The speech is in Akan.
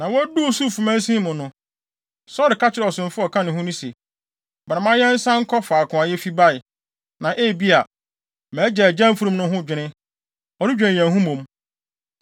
Na woduu Suf mansin mu no, Saulo ka kyerɛɛ ɔsomfo a ɔka ne ho no se, “Bra, ma yɛnsan nkɔ faako a yefi bae, na ebia, mʼagya agyae mfurum no ho dwene, ɔredwen yɛn ho mmom.”